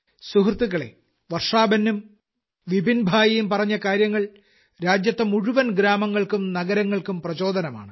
സുഹൃത്തുക്കളെ വർഷാബെന്നും വിപിൻഭായിയും പറഞ്ഞ കാര്യങ്ങൾ രാജ്യത്തെ മുഴുവൻ ഗ്രാമങ്ങൾക്കും നഗരങ്ങൾക്കും പ്രചോദനമാണ്